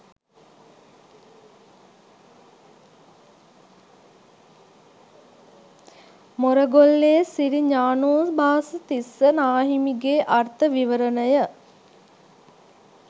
මොරගොල්ලේ සිරි ඤාණෝභාස තිස්ස නාහිමිගේ අර්ථ විවරණය.